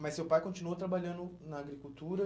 Mas seu pai continuou trabalhando na agricultura?